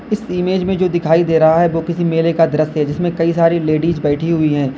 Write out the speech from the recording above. इस इमेज में जो दिखाई दे रहा है वो किसी मेले का दृश्य है जिसमें कई सारी लेडीज बैठी हुई है।